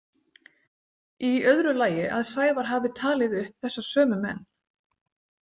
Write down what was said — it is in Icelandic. Í öðru lagi að Sævar hafi talið upp þessa sömu menn.